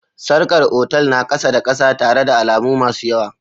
Sarkar otal na ƙasa-da-kasa tare da alamu masu yawa.